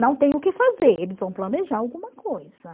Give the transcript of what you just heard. Não tem o que fazer, eles vão planejar alguma coisa.